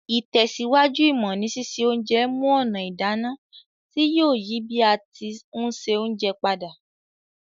Ìtẹ̀síwájú ìmọ́ ni sise onje mu ònà ìdáná ti yio yi bi a ti n se ounje padà